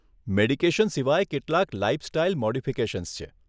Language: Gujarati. મેડિકેશન સિવાય કેટલાક લાઈફ સ્ટાઇલ મોડિફીકેશન્સ છે.